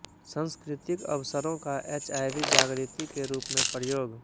संस्कृतिक अवसरों का एचआइवी जागृति के रूप में प्रयोग